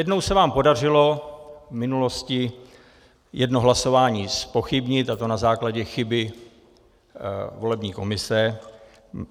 Jednou se vám podařilo v minulosti jedno hlasování zpochybnit, a to na základě chyby volební komise.